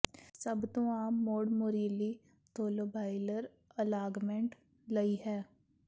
ਸਭ ਤੋਂ ਆਮ ਮੋੜ ਮੋਰੀਲੀ ਤੋਲੋਬਾਈਲਰ ਅਲਾਗਮੈਂਟ ਲਈ ਹੈ